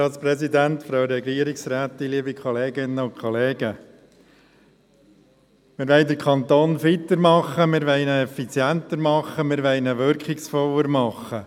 Wir wollen den Kanton fitter machen, wir wollen ihn effizienter machen, wir wollen ihn wirkungsvoller machen.